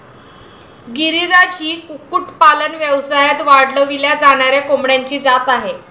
गिरीराज ही कुक्कुटपालन व्यवसायात वाढविल्या जाणाऱ्या कोंबड्यांची जात आहे.